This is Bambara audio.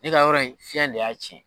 Ne ka yɔrɔ in fiɲɛ de y'a tiɲɛ.